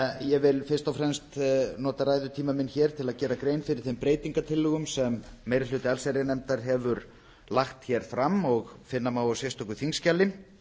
ég vil fyrst og fremst nota ræðutíma minn hér til að gera grein fyrir breytingartillögum sem meiri hluti allsherjarnefndar hefur lagt hér fram og finna má á sérstöku þingskjali